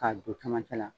K'a don camancɛ la